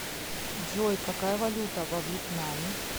джой какая валюта во вьетнаме